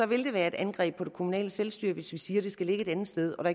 vil det være et angreb på det kommunale selvstyre hvis vi siger at det skal ligge et andet sted og